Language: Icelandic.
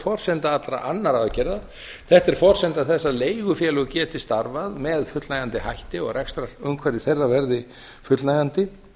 forsenda allra annarra aðgerða þetta er forsenda þess að leigufélög geti starfað með fullnægjandi hætti og rekstrarumhverfi þeirra verði fullnægjandi